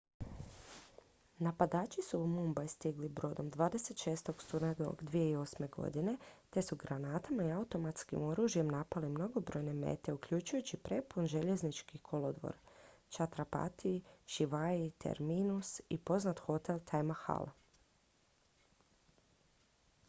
napadači su u mumbai stigli brodom 26. studenog 2008. te su granatama i automatskim oružjem napali mnogobrojne mete uključujući prepun željeznički kolodvor chhatrapati shivaji terminus i poznat hotel taj mahal